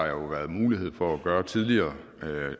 jo været mulighed for at gøre tidligere